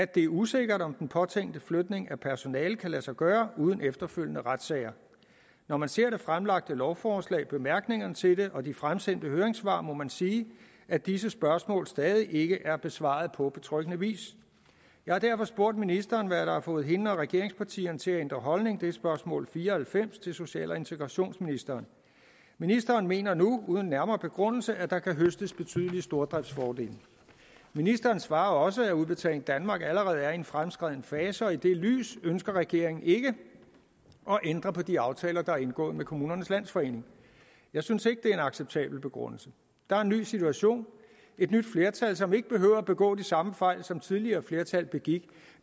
det er usikkert om den påtænkte flytning af personalet kan lade sig gøre uden efterfølgende retssager når man ser det fremlagte lovforslag bemærkningerne til det og de fremsendte høringssvar må man sige at disse spørgsmål stadig ikke er blevet besvaret på betryggende vis jeg har derfor spurgt ministeren hvad der har fået hende og regeringspartierne til at ændre holdning det er spørgsmål nummer fire og halvfems til social og integrationsministeren ministeren mener nu uden nærmere begrundelse at der kan høstes betydelige stordriftsfordele ministeren svarer også at udbetaling danmark allerede er i en fremskreden fase og i det lys ønsker regeringen ikke at ændre på de aftaler der er blevet indgået med kommunernes landsforening jeg synes ikke det er en acceptabel begrundelse der er en ny situation et nyt flertal som ikke behøver at begå de samme fejl som tidligere flertal begik